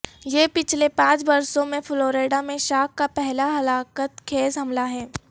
یہ پچھلے پانچ برسوں میں فلوریڈا میں شارک کا پہلا ہلاکت خیز حملہ ہے